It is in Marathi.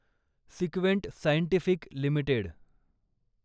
सिक्वेंट सायंटिफिक लिमिटेड